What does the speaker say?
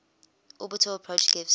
orbital approach gives